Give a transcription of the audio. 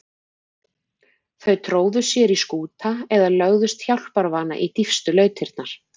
Þau tróðu sér í skúta eða lögðust hjálparvana í dýpstu lautirnar.